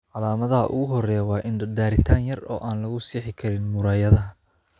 Calaamadaha ugu horreeya waa indho-daritaan yar oo aan lagu sixi karin muraayadaha.